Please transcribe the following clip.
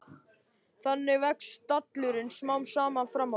Þannig vex stallurinn smám saman fram á við.